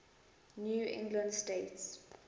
new england states